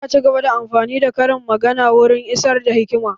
Za a cigaba da amfani da karin magana wurin isar da hikima